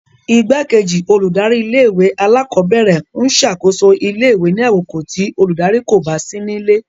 Igbakeji oludari-ìlé-ìwé-àlàkọbẹrẹ ń ṣakoso ìlé-ìwé ni àkókó ti oludari ko ba si nile